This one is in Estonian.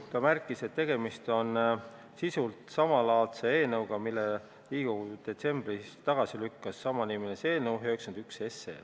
Ta märkis, et tegemist on sisult samalaadse eelnõuga kui see, mille Riigikogu detsembris tagasi lükkas – see oli samanimeline eelnõu 91.